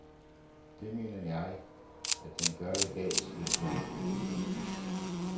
Det mener jeg, at den gør i dag, siger sundhedsmininsteren.